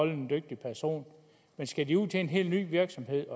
en dygtig person skal de ud at en helt ny virksomhed